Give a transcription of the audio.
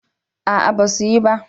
A'a ba su yi ba